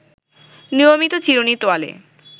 নিয়মিত চিরুনি, তোয়ালে